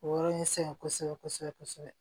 O yɔrɔ in sɛgɛn kosɛbɛ kosɛbɛ